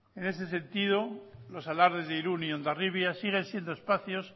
en este sentido los alardes de irún y hondarribia siguen siendo espacios